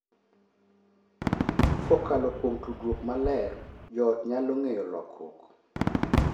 Kokalo kuom tudruok maler, joot nyalo ng’eyo lokruok,